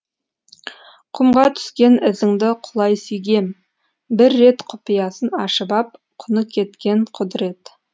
құмға түскен ізіңді құлай сүйгем бір рет құпиясын ашып ап құны кеткен құдірет